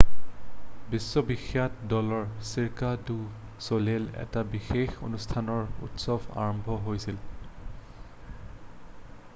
বিশ্ববিখ্যাত দল Cirque du ছলেইলৰ এটা বিশেষ অনুষ্ঠানেৰে উৎসৱ আৰম্ভ হৈছিল